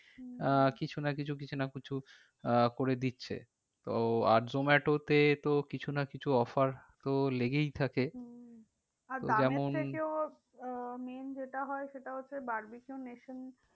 হম আহ কিছু না কিছু, কিছু না কিছু আহ করে দিচ্ছে তো আর জোমাটোতে তো কিছু না কিছু offer তো লেগেই থাকে। হম আহ main যেটা হয় সেটা হচ্ছে barbeque nation